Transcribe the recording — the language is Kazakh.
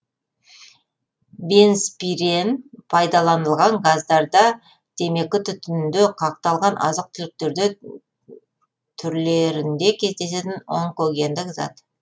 бензпирен пайдаланылған газдарда темекі түтінінде қақталған азық түліктерде түрлерінде кездесетін онкогендік зат